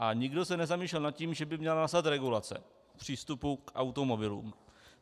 A nikdo se nezamýšlel nad tím, že by měla nastat regulace přístupu k automobilům.